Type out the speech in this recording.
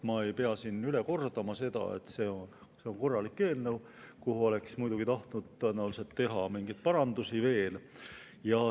Ma ei pea siin üle kordama, et see on korralik eelnõu, kus oleks muidugi tahtnud tõenäoliselt teha veel mingeid parandusi.